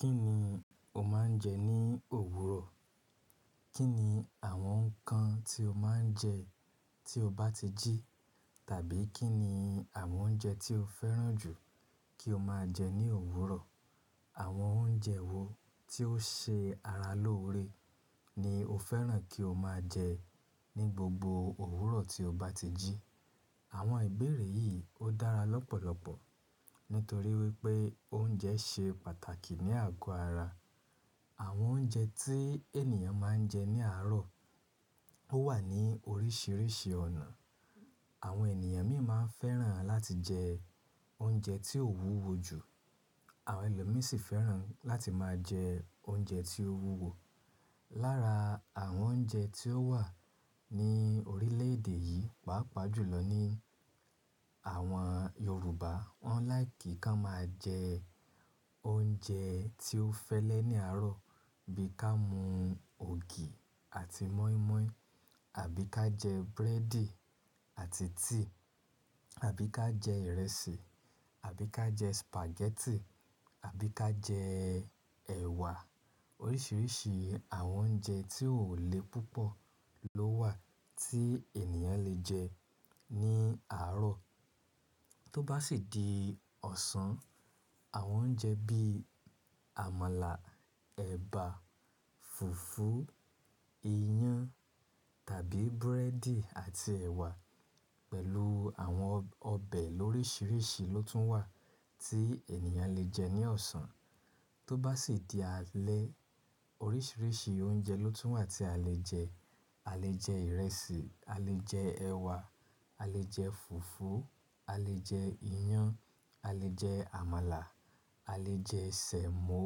Kí ni o máa ń jẹ ní òwúrọ̀? Kí ni àwọn nǹkan tí o máa ń jẹ tí o bá ti jí? Tàbí kí ni àwọn oúnjẹ tí o fẹ́ràn jù kí o máa jẹ ní òwúrọ̀? Àwọn oúnjẹ wo tí ó ṣe ara lóore ni o fẹ́ràn kí o máa jẹ ní gbogbo òwúrọ̀ tí o bá ti jí? Àwọn ìbéèrè yìí ó dára lọ́pọ̀lọpọ̀ nítorí wípé oúnjẹ ṣe pàtàkì ní àgọ́ ara. Àwọn oúnjẹ tí ènìyàn máa ń jẹ ní àárọ̀ ó wà ní oríṣiríṣi ọ̀nà. Àwọn ènìyàn míì máa ń fẹ́ràn láti jẹ oúnjẹ tí ó wúwo jù, àwọn ẹlòmíràn sì fẹ́ràn láti máa jẹ oúnjẹ tí ó wúwo. Lára àwọn oúnjẹ tí ó wà ní orílè èdè yìí, pàápàá jùlọ ní àwọn Yorùbá, wọ́n láì kí ká máa jẹ oúnjẹ tí ó fẹ́lẹ́ ní àárọ̀ bí ká mú ògì àti mọ́ímọ́í, àbí ká jẹ búrẹ́dì àti tíì, àbí ká jẹ ìrẹsì, àbí ká jẹ sìpàgẹ́tì, àbí ká jẹ ẹ̀wà. Oríṣiríṣi àwọn oúnjẹ tí ó le púpọ̀ ló wà tí ènìyàn lè jẹ ní àárọ̀. Tó bá sì di ọ̀sán, àwọn oúnjẹ bí àmàlà, ẹ̀bà, fùfú, iyán tàbí búrẹ́dì àti ẹ̀wà pẹ̀lú àwọn ọbẹ̀ lórisiríṣi ló tún wà tí ènìyàn lè jẹ ní ọ̀sán. Tó bá sì di alẹ́, oríṣiríṣi oúnjẹ ló tún wà tí a lè jẹ. A lè jẹ ìrẹsì, a lè jẹ ẹ̀wà, a lè jẹ fùfú, a lè jẹ iyán, a lè jẹ àmàlà, a lè jẹ sẹ̀mó,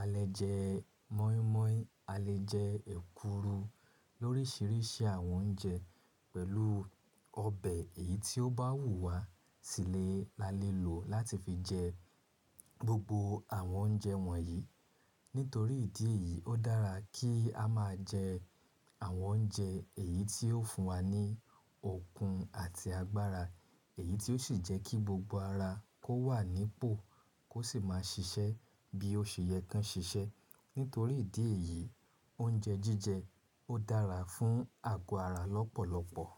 a lè jẹ mọ́ímọ́í, a lè jẹ èkuru. Lóríṣiríṣi àwọn oúnjẹ pẹ̀lú ọbẹ̀ èyí tí ó bá wù wá sílẹ̀ la lè lò láti fi jẹ gbogbo àwọn oúnjẹ wọ̀nyí. Nítorí ìdí èyí, ó dára kí a máa jẹ àwọn oúnjẹ èyí tí yóò fún wa ní okun àti agbára, èyí tí ó sì jẹ́ kí gbogbo ara kó wà nípò kó sì máa ṣiṣẹ́ bí ó ṣe yẹ kí ẹ ṣiṣẹ́. Nítorí ìdí èyí, oúnjẹ jíjẹ ó dára fún àgọ́ ara lọ́pọ̀lọpọ̀.